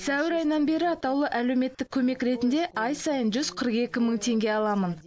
сәуір айынан бері атаулы әлеуметтік көмек ретінде ай сайын жүз қырық екі мың теңге аламын